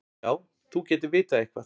Já, þú gætir vitað eitthvað.